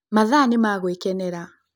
Mathaa nĩ ma gũikenera.